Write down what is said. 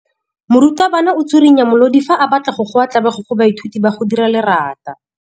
Morutwabana o tswirinya molodi fa a batla go goa tlabego go baithuti ba go dira lerata.